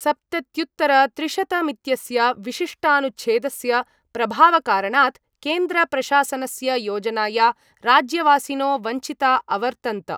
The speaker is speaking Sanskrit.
सप्तत्युत्तरत्रिशतमित्यस्य विशिष्टानुच्छेदस्य प्रभावकारणात् केन्द्रप्रशासनस्य योजनाया राज्यवासिनो वञ्चिता अवर्तन्त।